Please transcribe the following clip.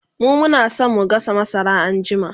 mu Muna San mu gasa masara anjima